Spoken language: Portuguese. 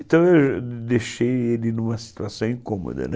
Então eu deixei ele numa situação incômoda, né?